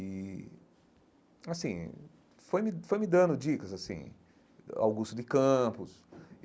E, assim, foi me foi me dando dicas, assim, Augusto de Campos.